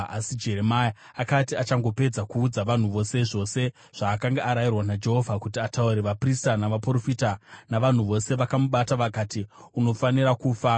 Asi Jeremia akati achangopedza kuudza vanhu vose zvose zvaakanga arayirwa naJehovha kuti ataure, vaprista navaprofita navanhu vose vakamubata vakati, “Unofanira kufa!